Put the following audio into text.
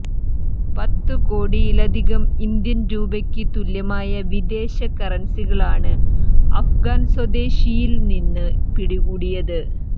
പത്തു കോടിയലധികം ഇന്ത്യൻ രൂപയ്ക്ക് തുല്യമായ വിദേശ കറൻസികളാണ് അഫ്ഗാൻ സ്വദേശിയിൽ നിന്ന് പിടികൂടിയത്